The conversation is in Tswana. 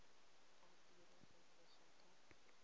a tiro go tloga ka